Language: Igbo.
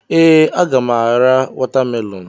Ee, a ga m ara watamelonụ.